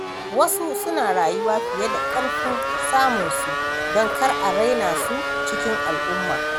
Wasu suna rayuwa fiye da ƙarfin samunsu don kar a raina su cikin al’umma.